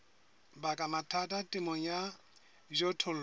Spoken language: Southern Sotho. baka mathata temong ya dijothollo